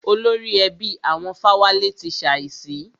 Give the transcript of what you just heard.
Olórí ẹbí àwọn Fáwálé ti ṣàísí.